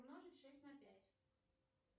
умножить шесть на пять